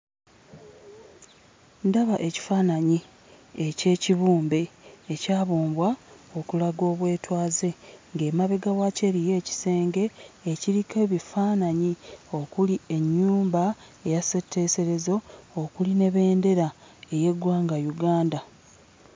Ndaba ekifaananyi eky'ekibumbe ekyabumbwa okulaga obwetaaze ng'emabega waakyo eriyo kisenge ekiriko ebifaananyi okuli ennyumba eya ssetteeserezo okuli ne bendera ey'eggwanga Uganda.